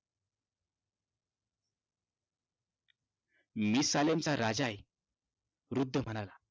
मी सालेमचा राजा आहे. वृद्ध म्हणाला.